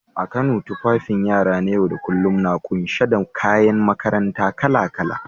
A Kano, tufafin yara na yau da kullum na kunshe da kayan makaranta kala-kala.